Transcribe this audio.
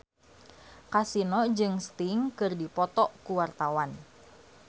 Kasino jeung Sting keur dipoto ku wartawan